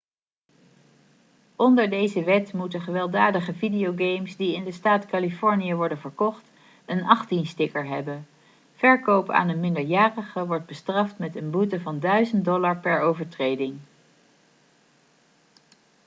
onder deze wet moeten gewelddadige videogames die in de staat californië worden verkocht een '18'-sticker hebben. verkoop aan een minderjarige wordt bestraft met een boete van $ 1000 per overtreding